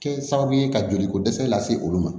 Kɛ sababu ye ka joli ko dɛsɛ lase olu ma